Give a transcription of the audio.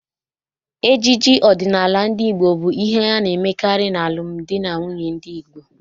Ejiji ọdịnala ndị Igbo bụ ihe a na-emekarị n'alụm di na nwunye ndị Igbo.